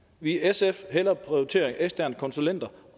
vil sf hellere prioritere eksterne konsulenter